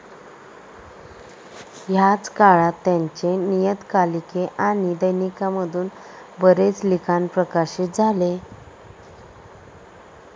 ह्याच काळात त्यांचे नियतकालीके आणि दैनिकामधून बरेच लिखाण प्रकाशित झाले.